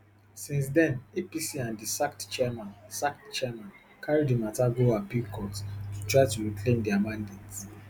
since den apc and di sacked chairmen sacked chairmen carry di matter go appeal court to try to reclaim dia mandate